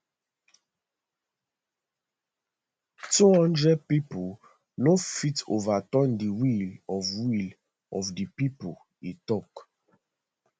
twohundred pipo no fit overturn di will of will of di pipo e tok